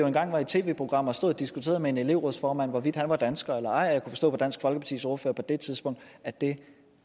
engang var i et tv program og stod og diskuterede med en elevrådsformand om hvorvidt han var dansker og jeg forstå på dansk folkepartis ordfører på det tidspunkt at det